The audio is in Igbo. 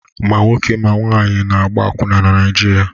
Ma nwoke ma nwaanyị na-agba akwụna na Naịjirịa.